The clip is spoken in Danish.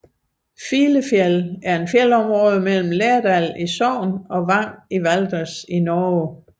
Filefjell er et fjeldområde mellem Lærdal i Sogn og Vang i Valdres i Norge